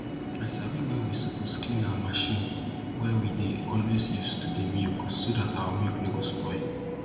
i sabi wen we suppose clean our machine wey we dey always use to dey milk so dat our milk no go spoil